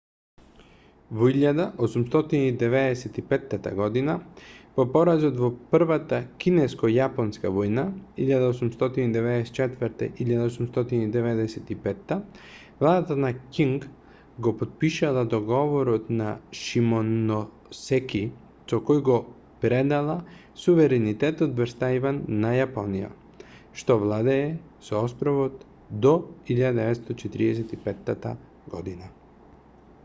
во 1895 година по поразот во првата кинеско-јапонска војна 1894-1895 владата на ќинг го потпишала договорот на шимоносеки со кој го предала суверенитетот врз тајван на јапонија што владее со островот до 1945 година